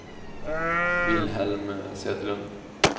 Wilhelm Söderlund